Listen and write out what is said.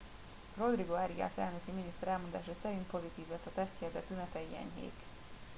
rodrigo arias elnöki miniszter elmondása szerint pozitív lett a tesztje de tünetei enyhék